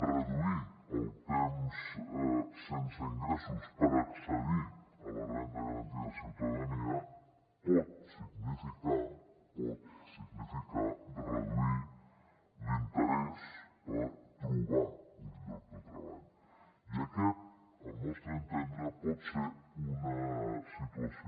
reduir el temps sense ingressos per accedir a la renda garantida de ciutadania pot significar pot significar reduir l’interès per trobar un lloc de treball i aquesta al nostre entendre pot ser una situació